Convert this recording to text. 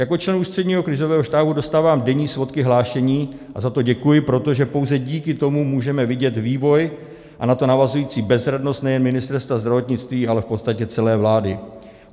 Jako člen Ústředního krizového štábu dostávám denní svodky hlášení a za to děkuji, protože pouze díky tomu můžeme vidět vývoj a na to navazující bezradnost nejen Ministerstva zdravotnictví, ale v podstatě celé vlády.